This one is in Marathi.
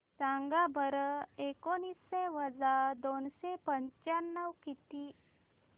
सांगा बरं एकोणीसशे वजा दोनशे पंचावन्न किती